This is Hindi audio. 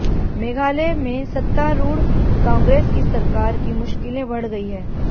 मेघालय में सत्तारूढ़ कांग्रेस की सरकार की मुश्किलें बढ़ गई है